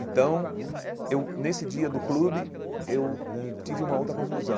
Então, eu nesse dia do clube, eu tive uma outra conclusão.